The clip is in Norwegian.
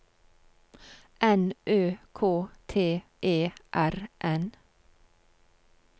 N Ø K T E R N